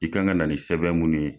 I kan ka na nin sɛbɛn munnu ye.